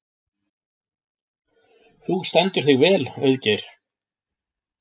Þú stendur þig vel, Auðgeir!